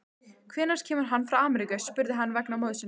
Hvenær kemur hann frá Ameríku, spurði hann vegna móður sinnar.